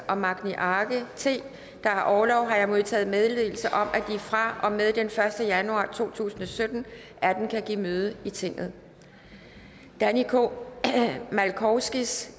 og magni arge der har orlov har jeg modtaget meddelelse om at de fra og med den første januar to tusind og sytten atter kan give møde i tinget danny k malkowskis